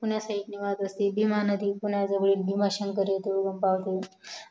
पुण्याजवळील भीमा नदी पुण्याजवळील भीमा शंकर येथे उगम पावते